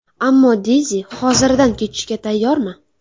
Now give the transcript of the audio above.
Ammo Deyzi hoziridan kechishga tayyormi?